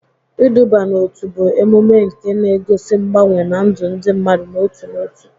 Iduba n'otu bụ emume nke na-egosi mgbanwe na ndụ ndị mmadụ n'otu n'otu.